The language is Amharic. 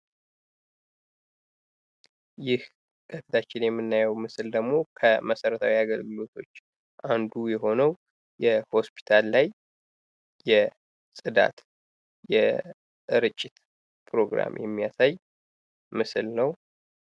ይህ ከፊታችን የምናየው ምስል ደግሞ ከመሰረታዊ የአገልግሎቶች አንዱ የሆነው የሆስፒታል ላይ የጽዳት፣ የርጭት ፕሮግራም የሚያሳይ ምስል ነው።